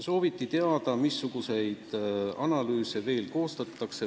Sooviti teada, missuguseid analüüse veel koostatakse.